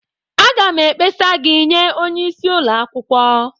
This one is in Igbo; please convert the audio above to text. Aga m ekpesa gị nye onye isi ụlọ akwukwo.